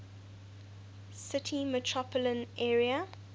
city metropolitan area